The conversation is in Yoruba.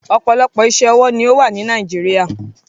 Ọpọlọpọ̀ iṣẹ-ọwọ ni o wà ni Nàìjíríà